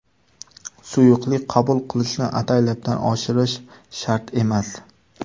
Suyuqlik qabul qilishni ataylabdan oshirish shart emas.